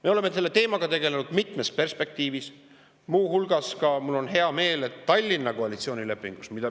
Me oleme selle teemaga tegelenud mitmes perspektiivis, muu hulgas – mul on hea meel – Tallinna koalitsioonilepingus.